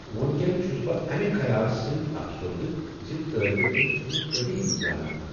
وٕنکین چھس بہٕ امہ خیالہٕ سۭتۍ افسردہ ز طٲلب علم چھِ مےٚ قدیم زانان.